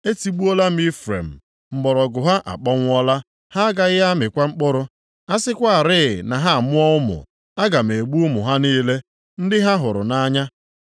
Etigbuola Ifrem, mgbọrọgwụ ha akpọnwụọla, ha agaghị amịkwa mkpụrụ. A sịkwarị na ha amụọ ụmụ, aga m egbu ụmụ ha niile, ndị ha hụrụ nʼanya.”